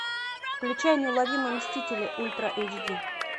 включай неуловимые мстители ультра эйч ди